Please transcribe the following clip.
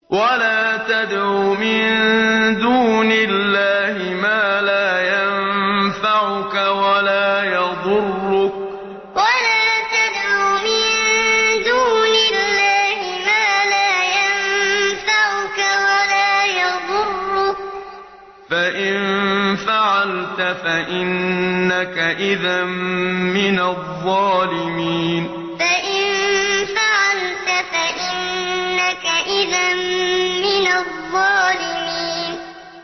وَلَا تَدْعُ مِن دُونِ اللَّهِ مَا لَا يَنفَعُكَ وَلَا يَضُرُّكَ ۖ فَإِن فَعَلْتَ فَإِنَّكَ إِذًا مِّنَ الظَّالِمِينَ وَلَا تَدْعُ مِن دُونِ اللَّهِ مَا لَا يَنفَعُكَ وَلَا يَضُرُّكَ ۖ فَإِن فَعَلْتَ فَإِنَّكَ إِذًا مِّنَ الظَّالِمِينَ